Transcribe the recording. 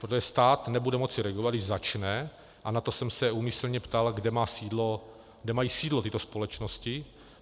Protože stát nebude moci regulovat, když začne - a na to jsem se úmyslně ptal, kde mají sídlo tyto společnosti.